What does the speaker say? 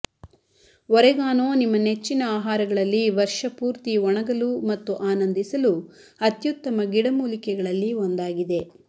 oregano ನಿಮ್ಮ ನೆಚ್ಚಿನ ಆಹಾರಗಳಲ್ಲಿ ವರ್ಷಪೂರ್ತಿ ಒಣಗಲು ಮತ್ತು ಆನಂದಿಸಲು ಅತ್ಯುತ್ತಮ ಗಿಡಮೂಲಿಕೆಗಳಲ್ಲಿ ಒಂದಾಗಿದೆ